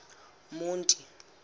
monti